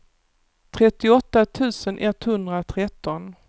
trettioåtta tusen etthundratretton